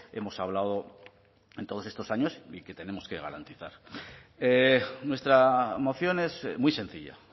hemos hablado en todos estos años y que tenemos que garantizar nuestra moción es muy sencilla